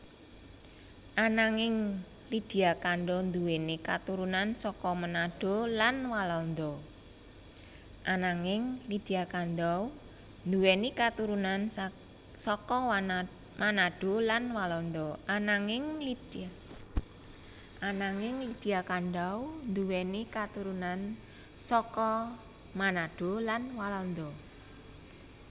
Ananging Lydia Kandou nduwèni katurunan saka Manado lan Walanda